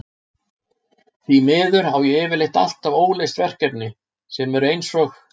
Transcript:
Því miður á ég yfirleitt alltaf óleyst verkefni, sem eru eins og